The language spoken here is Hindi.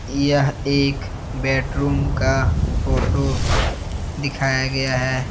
यह एक बैडरूम का फोटो दिखाया गया है।